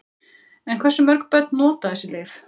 En hversu mörg börn nota þessi lyf?